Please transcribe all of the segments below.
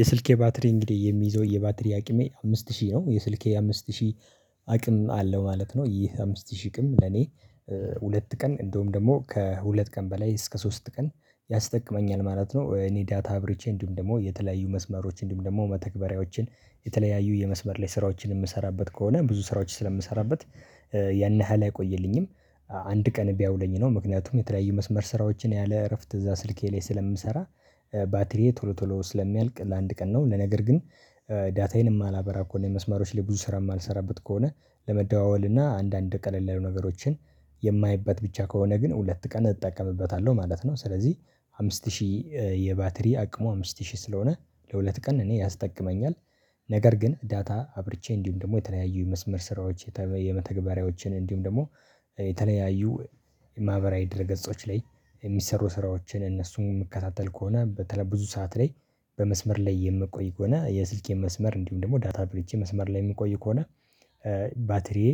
የስልኬ ባትሪ እንግዲህ የሚይዘው የባትሪ አቅሜ አምስት ሺህ ነው። የስልኬ አምስት ሺህ አቅም አለው ማለት ነው ::ይህ አምስት ሺህ ቅም ለኔ- ሁለት ቀን እንደውም ደግሞ ከሁለት ቀን በላይ እስከ ሶስት ቀን ያስጠቅመኛል ማለት ነው። እኔ ዳታ አብርቼ እንዲሁም ደግሞ የተለያዩ መስመሮች እንዲሁም ደግሞ መተግበሪያዎችን የተለያዩ የመስበር ላይ ስራዎችን የምሰራበት ከሆነ ብዙ ስራዎች ስለምሰራበት ያን ያህል አይቆይልኝም። አንድ ቀን ቢያውለኝ ነው ምክንያቱም የተለያዩ መስመር ስራዎችን ያለ እረፍት እዛ ስልኬ ላይ ስለምሰራ- ባትሪዬ ቶሎ ቶሎ ስለሚያልቅ ለአንድ ቀን ነው ለነገር ግን: ዳታዬን የማላበራ ከሆነ የመስማሮች ላይ ብዙ ስራ የማልሰራበት ከሆነ ለመደዋወል እና አንዳንድ ቀለል ያሉ ነገሮችን የማይበት ብቻ ከሆነ ግን ሁለት ቀን እጠቀምበታለሁ ማለት ነው ::ስለዚህ አምስት ሺህ የባተሪ አቅሙ አምስት ሺህ ስለሆነ ለሁለት ቀን እኔ ያስጠቅመኛል። ነገር ግን ዳታ አብርቼ እንዲሁም ደግሞ የተለያዩ የመስመር ስራዎች የተለየዩ መተግበሪያዎችን እንዲሁም ደግሞ- የተለያዩ የማህበራዊ ድር ገጾች ላይ የሚሰሩ ስራዎችን እነሱን የምከታተል ከሆነ :በተለይ ብዙ ሰዓት ላይ በመስመር ላይ የምቆይ ከሆነ የስልኬ መስመር እንዲሁም ደግሞ ዳታ አብርቼ መስመር ላይ የምቆይ ከሆነ- ባትሪዬ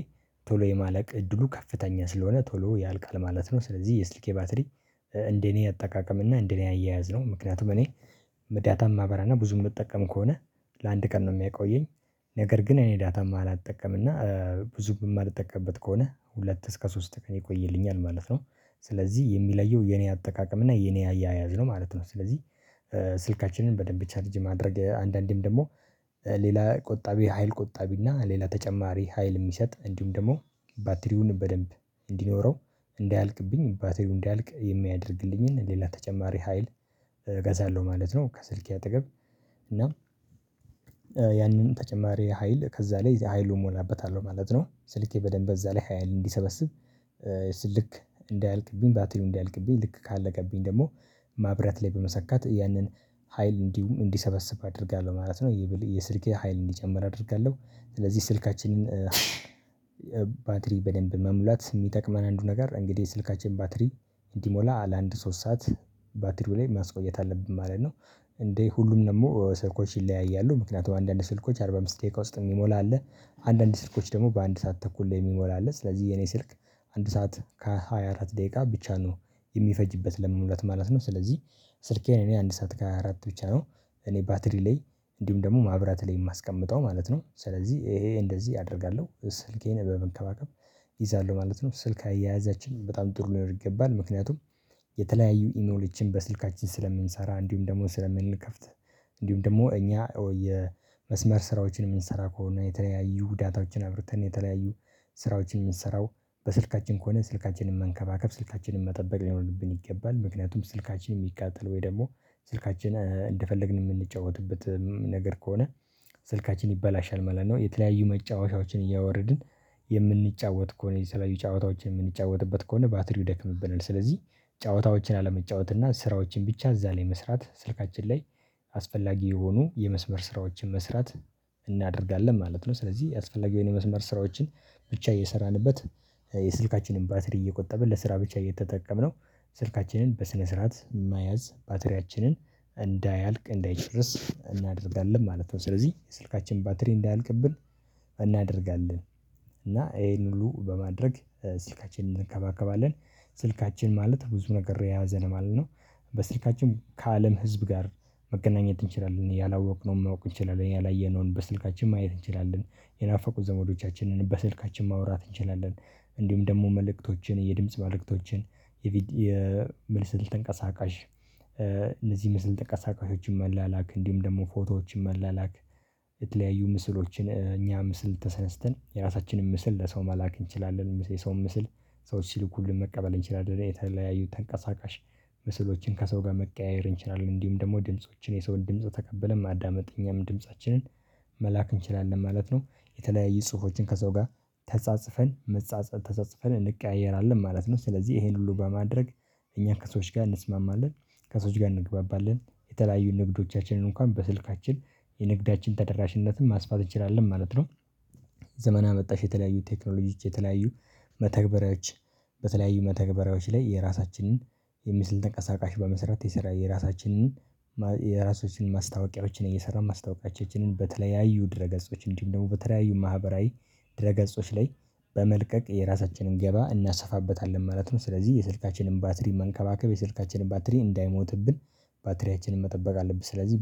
ቶሎ የማለቅ እድሉ ከፍተኛ ስለሆነ ቶሎ ያልቃል ማለት ነው ::ስለዚህ የስልኬ ባትሪ እንደኔ አጠቃቀም እና እንደኔ አያያዝ ነው ::ምክንያቱም እኔ- ዳታ እማበራና ብዙም እምጠቀም ከሆነ ለአንድ ቀን ነው የሚያቆየኝ ነገር ግን እኔ ዳታ የማላጠቀም እና ብዙም የማልጠቀቅበት ከሆነ ሁለት እስከ ሶስት ቀን ይቆይልኛል ማለት ነው። ስለዚህ የሚለየው የኔ አጠቃቀም እና የኔ አያያዝ ነው ማለት ነው። ስለዚህ ስልካችንን በደንብ ቻርጅ ማድረግ አንዳንዴም ደግሞ- ሌላ ቆጣቢ ሀይል ቆጣቢና ሌላ ተጨማሪ ሀይል የሚሰጥ እንዲሁም ደግሞ- ባትሪውን በደንብ እንዲኖረው እንዳያልቅብኝ ባትሪው እንዳያልቅ የሚያደርግልኝን ሌላ ተጨማሪ ሀይል እገዛለሁ ማለት ነው። ከስልኬ አጠገብ እና- ያንን ተጨማሪ ሀይል ከዛ ላይ ኃይሉን እሞላበታለሁ ማለት ነው። ስልኬ በደንብ እዛ ላይ ሀይል እንዲሰበስብ- ልክ እንዳያልቅብኝ ባጥሪው እንዳያልቅብኝ ልክ ካለቀብኝ ደግሞ- ማብራት ላይ በመሰካት ያንን ሀይል እንዲሰበስብ አደርጋለሁ ማለት ነው። የስልኬ ሀይል እንዲጨምር አደርጋለሁ። ስለዚህ ስልካችንን- ባትሪ በደንብ መሙላት የሚጠቅመን አንዱ ነገር እንግዲህ ስልካችን ባትሪ እንዲሞላ ለአንድ ሶስት ሰዓት ባትሪው ላይ ማስቆየት አለብን ማለት ነው። እንዴ ሁሉም ደግሞ ስልኮች ይለያያሉ። ምክንያቱም አንዳንድ ስልኮች አርባ አምስት ደቂቃ ውስጥ የሚሞላ አለ- አንዳንድ ስልኮች ደግሞ በአንድ ሰዓት ተኩል ላይ የሚሞላ አለ ::ስለዚህ የኔ ስልክ አንድ ሰዓት ከሃያ አራት ደቂቃ ብቻ ነው የሚፈጅበት ለመሙላት ማለት ነው። ስለዚህ ስልኬን እኔ አንድ ሰዓት ከሃያ አራት ብቻ ነው እኔ ባትሪ ላይ እንዲሁም ደግሞ ማብራት ላይ የማስቀምጠው ማለት ነው። ስለዚህ ይሄ እንደዚህ አደርጋለሁ። ስልኬን በመንከባከብ- እይዛለሁ ማለት ነው: ስልክ- አያያዛችን በጣም ጥሩ ሊኖር ይገባል ::ምክንያቱም:- የተለያዩ ኢሞሎችን በስልካችን ስለምንሰራ :እንዲሁም ደግሞ ስለምንከፍት: እንዲሁም ደግሞ እኛ የመስመር ስራዎችን የምንሰራ ከሆነ የተለያዩ ዳታዎችን አብርተን የተለያዩ- ስራዎችን የምሰራው በስልካችን ከሆነ ስልካችንን መንከባከብ :ስልካችንን መጠበቅ ሊኖርብን ይገባል። ምክንያቱም ስልካችንን የሚቃጠል ወይ ደግሞ ስልካችን እንደፈለግን የምንጫወትበ ነገር ከሆነ- ስልካችን ይበላሻል ማለት ነው። የተለያዩ መጫወቻዎችን እያወረድን የምንጫወት ከሆነ የተለያዩ ጨዋታዎችን የምንጫወትበት ከሆነ ባትሪው ደክምብናል ::ስለዚህ ጨዋታዎችን አለመጫወት እና ስራዎችን ብቻ እዛ ላይ መስራት ስልካችን ላይ አስፈላጊ የሆኑ የመስመር ስራዎችን መስራት- እናደርጋለን ማለት ነው ስለዚህ አስፈላጊ የሆኑ የመስመር ስራዎችን ብቻ እየሰራንበት- የስልካችንን ባትሪ እየቆጠብን ለስራ ብቻ እየተጠቀምነው ስልካችንን በስነ ስርዓት መያዝ ባትሪያችንን እንዳያልቅ እንዳይጨርስ እናደርጋለን ማለት ነው። ስለዚህ የስልካችን ባትሪ እንዳያልቅብን እናደርጋለን። እና ይሄን ሁሉ በማድረግ ስልካችንን እንከባከባለን። ስልካችን ማለት ብዙ ነገር የያዘ ነው ማለት ነው። በስልካችን ከአለም ህዝብ ጋር መገናኘት እንችላለን ::ያላወቅነውን ማወቅ እንችላለን። ያላየነውን በስልካችን ማየት እንችላለን። የናፈቁ ዘመዶቻችንን በስልካችን ማውራት እንችላለን ::እንዲሁም ደግሞ መልእክቶችን የድምጽ መልእክቶችን- የመስል ተንቀሳቃሽ እነዚህ ምስል ተንቀሳቃሾችን መላላክ :እንዲሁም ደግሞ ፎቶዎችን መላላክ :የተለያዩ ምስሎችን እኛ ምስል ተነስተን የራሳችንን ምስል ለሰው መላክ እንችላለን :የሰውን ምስል ሰዎች ሲልኩልን መቀጠል እንችላለን: የተለያዩ ተንቀሳቃሽ ምስሎችን ከሰው ጋር መቀያየር እንችላለን :እንዲሁም ደግሞ ድምፆችን የሰውን ድምጽ ተቀብለን ማዳመጥ እኛም ድምፃችንን- መላክ እንችላለን ማለት ነው። የተለያየ ጽሁፎችን ከሰው ጋር ተጻጽፈን መጻጸል ተጻጽፈን እንቀያየራለን ማለት ነው ::ስለዚህ ይሄን ሁሉ በማድረግ እኛ ከሰዎች ጋር እንስማማለን ::ከሰዎች ጋር እንግባባለን። የተለያዩ ንግዶቻችንን እንኳን በስልካችን የንግዳችን ተደራሽነትን ማስፋት እንችላለን ማለት ነው። ዘመ አመጣሽ የተለያዩ ቴክኖሎጂች የተለያዩ መተግበሪያዎች- በተለያዩ መተግበሪያዎች ላይ የራሳችንን የምስል ተንቀሳቃሽ በመስራት የሰራ የራሳችንን- የራሳችን ማስታወቂያዎችን እየሰራን ማስታወቂያቸውን በተለያዩ ድረ ገጾች እንዲሁም ደግሞ በተለያዩ ማህበራዊ ድረ ገጾች ላይ በመልቀቅ የራሳችንን ገበያ እናሰፋበታለን ማለት ነው። ስለዚህ የስልካችንን ባትሪ መንከባከብ የስልካችንን ባትሪ እንዳይሞትብን ባትሪያችንን መጠበቅ አለብን። ስለዚህ-